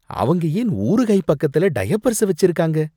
அவங்க ஏன் ஊறுகாய் பக்கத்துல டயப்பர்ஸ வச்சிருக்காங்க?